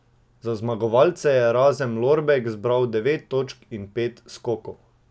Za zmagovalce je Erazem Lorbek zbral devet točk in pet skokov.